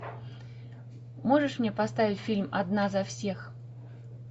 можешь мне поставить фильм одна за всех